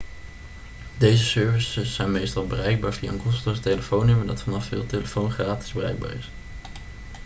deze services zijn meestal bereikbaar via een kosteloos telefoonnummer dat vanaf veel telefoons gratis bereikbaar is